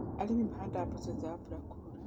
arĩmi mahandaga mboco thutha wa mbura kuura.